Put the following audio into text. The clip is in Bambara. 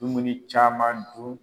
Dumuni caman dun.